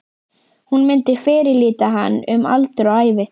Hún myndi fyrirlíta hann um aldur og ævi!